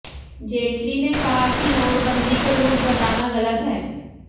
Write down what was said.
जेटली ने कहा कि नोटबंदी को लूट बताना गलत है